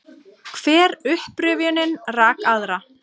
Hver upprifjunin rak aðra.